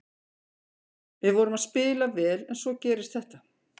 Við vorum að spila vel en svo gerist þetta.